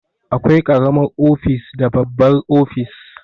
Akwai karamar ofis da babbar ofis